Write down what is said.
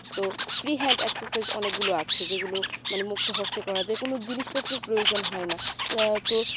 তো free hand exercise অনেকগুলো আছে যেগুলো মানে মুক্ত হস্তে করা যেকোনো জিনিসপত্রের প্রয়োজন হয়না আহ তো সেই,